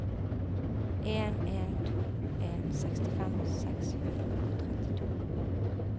en en to en sekstifem seks hundre og trettito